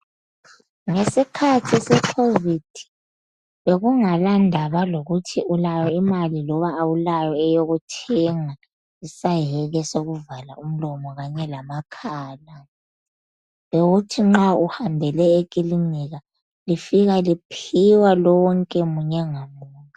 Ngesikhathi se"Covid" bekungala ndaba lokuthi ulayo imali loba awulayo eyokuthenga isayeke sokuvala umlomo kanye lamakhala, bewuthi nxa uhambele ekilinika lifika liphiwa lonke munye ngamunye.